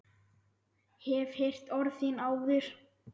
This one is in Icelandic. Hef heyrt orð þín áður.